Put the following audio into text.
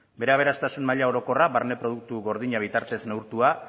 bere aberastasun maila orokorra barne produktu gordina bitartez neurtua